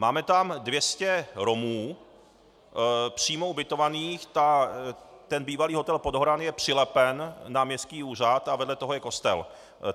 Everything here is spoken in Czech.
Máme tam 200 Romů přímo ubytovaných, ten bývalý hotel Podhoran je přilepen na městský úřad a vedle toho je kostel.